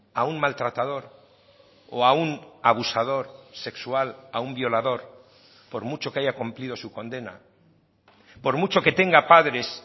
a un maltratador o a un abusador sexual a un violador por mucho que haya cumplido su condena por mucho que tenga padres